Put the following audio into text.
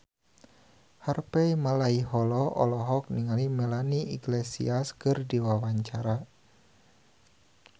Harvey Malaiholo olohok ningali Melanie Iglesias keur diwawancara